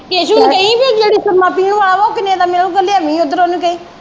ਕੈਸੂ ਨੂੰ ਕਹੀ ਬੀ ਉਹ ਜਿਹੜੀ ਸੁਰਮਾ ਪੀਣ ਵਾਲਾ ਵਾ ਉਹ ਕਿਨ੍ਹੇ ਦਾ ਮਿਲੂਗਾ ਲਿਆਵੀਂ ਓਧਰੋਂ ਉਹਨੂੰ ਕਹੀ।